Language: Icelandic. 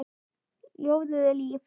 Ljóðið er líf.